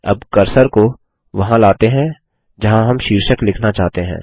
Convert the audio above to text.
अब कर्सर को वहां लाते हैं जहाँ हम शीर्षक लिखना चाहते हैं